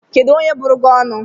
Kedu onye buru gi onu?